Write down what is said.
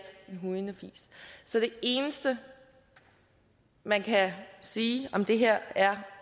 en hujende fis så det eneste man kan sige om det her er